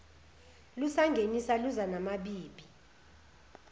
lusangenisa luza namabibi